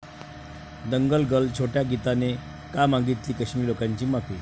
दंगल'गर्ल 'छोट्या गीता'ने का मागितली काश्मिरी लोकांची माफी?